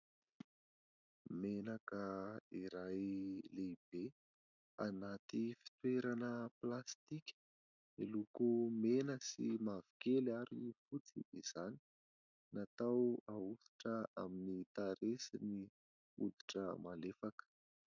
Menaka iray lehibe anaty fitoerana plastika, miloko mena sy mavokely ary fotsy izany. Natao hahosotra amin'ny tarehy sy ny hoditra malefaka.